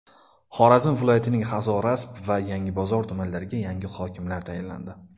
Xorazm viloyatining Hazorasp va Yangibozor tumanlariga yangi hokimlar tayinlandi.